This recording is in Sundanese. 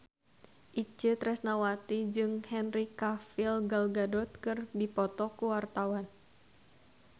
Itje Tresnawati jeung Henry Cavill Gal Gadot keur dipoto ku wartawan